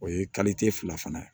O ye fila ye